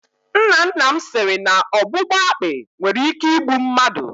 Nna nna m siri na ọgbụgba akpi nwere ike igbu mmadụ.